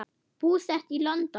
Búsett í London.